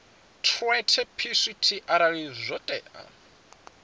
treaty pct arali zwo tea